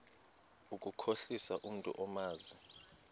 ukukhohlisa umntu omazi